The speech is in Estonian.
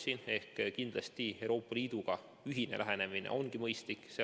Siin kindlasti on Euroopa Liiduga ühine lähenemine mõistlik.